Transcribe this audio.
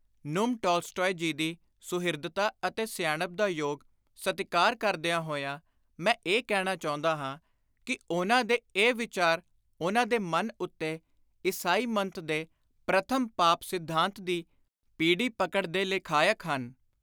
ਨੁਮ Tolstoy ji ਦੀ ਸੁਹਿਰਦਤਾ ਅਤੇ ਸਿਆਣਪ ਦਾ ਯੋਗ ਸਤਿਕਾਰ ਕਰਦਿਆਂ ਹੋਇਆਂ ਮੈਂ ਇਹ ਕਹਿਣਾ ਚਾਹੁੰਦਾ ਹਾਂ ਕਿ ਉਨ੍ਹਾਂ ਦੇ ਇਹ ਵਿਚਾਰ ਉਨ੍ਹਾਂ ਦੇ ਮਨ ਉੱਤੇ, ਈਸਾਈ ਮੱਤ ਦੇ ‘ਪ੍ਰਥਮ-ਪਾਪ-ਸਿਧਾਂਤ’ ਦੀ ਪੀਡੀ ਪਕੜ ਦੇ ਲਖਾਇਕ ਹਨ।